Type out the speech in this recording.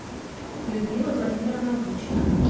людмила владимировна бучина